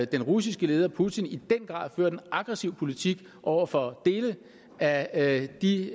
den russiske leder putin i den grad ført en aggressiv politik over for dele af de